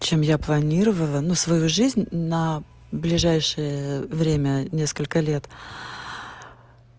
чем я планировала но свою жизнь на ближайшее время несколько лет